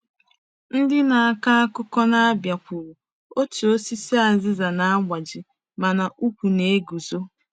Ndị na-akọ akụkọ na Abia kwuru: “Otu osisi aziza na-agbaji, mana ùkwù na-eguzo.”